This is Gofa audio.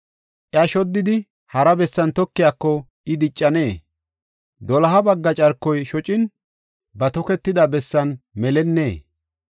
Iya shoddidi, hara bessan tokiyako I diccanee? Doloha bagga carkoy shocin ba toketida bessan melennee?”